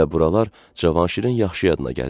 Və buralar Cavanşirin yaxşı yadına gəlirdi.